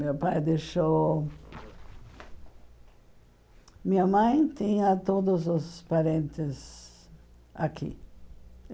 Meu pai deixou... Minha mãe tinha todos os parentes aqui.